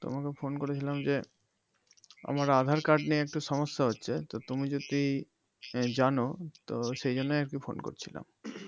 তোমাকে phone করেছিলাম যে আমার আধার card নিয়ে একটু সমস্যা হচ্ছে তো তুমি যদি জানো তো সেজন্য আরকি ফোন করছিলাম